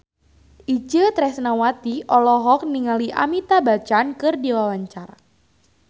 Itje Tresnawati olohok ningali Amitabh Bachchan keur diwawancara